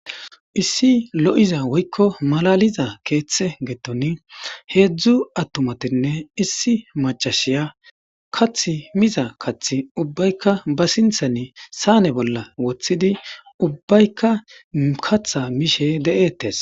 issi lo7iza woykko malaliza keeththe geeton heedzdzu attumatinne issi macashiya kath miza kath ubbaykka ba sinthani saane bolla woththidi ubbaykka katha mishe de7eetes